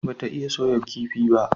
Ba ta iya soya kifi ba?